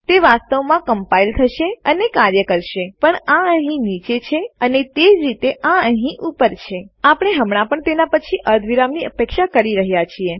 તે વાસ્તવમાં કંપાઈલ સંકલન થશે અને કાર્ય કરશે પણ આ અહીં નીચે છે અને તેજ રીતે આ અહીં ઉપર છે આપણે હમણાં પણ તેના પછી અર્ધવિરામની અપેક્ષા કરી રહ્યા છીએ